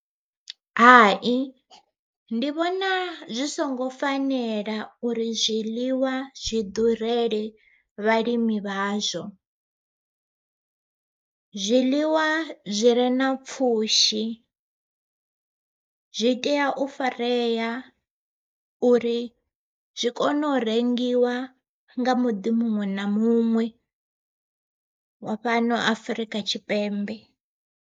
Hai ndi vhona zwi songo fanela uri zwiḽiwa zwi ḓurele vhalimi vhazwo, zwiḽiwa zwi re na pfhushi zwi tea u farea uri zwi kone u rengiwa nga muḓi muṅwe na muṅwe wa fhano Afrika Tshipembe.